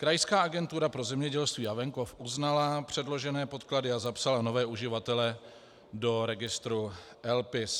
Krajská agentura pro zemědělství a venkov uznala předložené podklady a zapsala nové uživatele do registru LPIS.